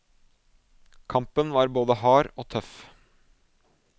Kampen var både hard og tøff.